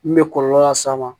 Min bɛ kɔlɔlɔ las'a ma